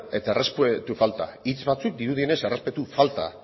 eta errespetu falta hitz batzuk dirudienez errespetu falta